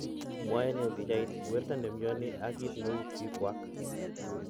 Mwae ne pichait, Werto nemioni ag kit neu pikuak.